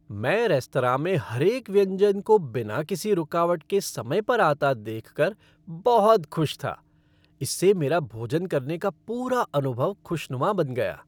मैं रेस्तरां में हर एक व्यंजन को बिना किसी रुकावट के समय पर आता देख कर बहुत खुश था, इससे मेरा भोजन करने का पूरा अनुभव खुशनुमा बन गया।